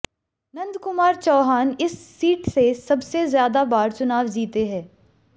नंदकुमार चौहान इस सीट से सबसे ज्यादा बार चुनाव जीते हैं